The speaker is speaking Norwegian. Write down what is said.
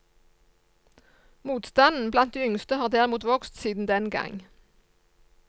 Motstanden blant de yngste har derimot vokst siden den gang.